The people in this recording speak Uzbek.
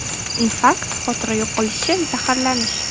Infarkt, xotira yo‘qolishi, zaharlanish.